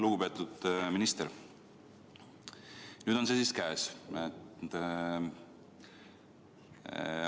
Lugupeetud minister, nüüd on see siis käes.